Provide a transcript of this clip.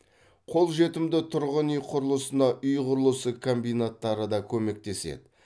қолжетімді тұрғын үй құрылысына үй құрылысы комбинаттары да көмектеседі